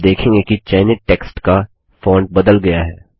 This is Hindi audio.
आप देखेंगे कि चयनित टेक्स्ट का फॉन्ट बदल गया है